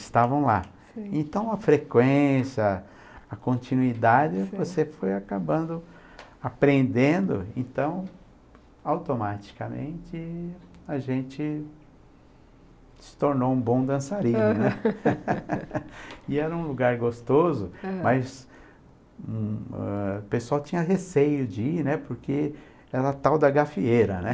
estavam lá, sim, então a freqüência a continuidade você foi acabando aprendendo então automaticamente a gente se tornou um bom dançarino e era um lugar gostoso uhum, mas o pessoal tinha receio de ir né porque era tal da gafieira né